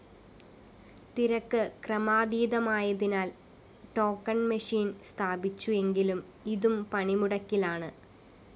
തിരക്ക് ക്രമാതീതമായതിനാല്‍ ടോക്കൻ മച്ചിനെ സ്ഥാപിച്ചു എങ്കിലും ഇതും പണിമുടക്കിലാണ്